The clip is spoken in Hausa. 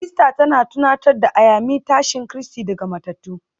Easter tana tunatar da Ayami tashin Kristi daga matattu